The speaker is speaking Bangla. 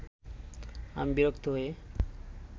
আমি বিরক্ত হয়ে